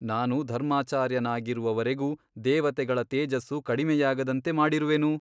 ನಾನು ಧರ್ಮಾಚಾರ್ಯನಾಗಿರುವವರೆಗೂ ದೇವತೆಗಳ ತೇಜಸ್ಸು ಕಡಿಮೆಯಾಗದಂತೆ ಮಾಡಿರುವೆನು?